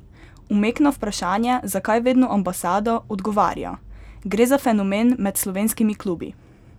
Umek na vprašanje, zakaj vedno Ambasada, odgovarja: "Gre za fenomen med slovenskimi klubi.